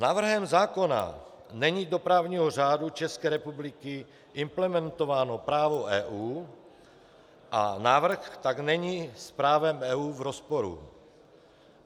Návrhem zákona není do právního řádu České republiky implementováno právo EU a návrh tak není s právem EU v rozporu.